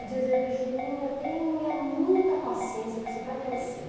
Eu dizia, Eugeninha, tenha muita paciência que você vai crescer.